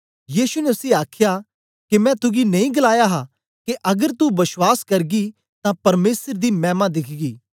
यीशु ने उसी आखया के मैं तुगी नेई गलाया हा के अगर तू बश्वास करगी तां परमेसर दी मैमा दिखगी